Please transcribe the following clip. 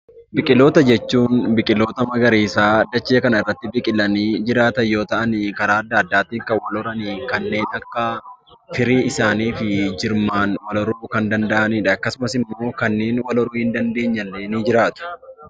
Biqiloota jechuun biqiloota magariisaa dachee kana irratti biqilanii jiraatan yoo ta'ani karaa adda addaatiin kan wal horan kanneen akka firii isaanii fi jirmaan wal horuu kan danda'anidha. Akkasumas immoo kanneen wal horrii hin dandeenye illee ni jiraatu.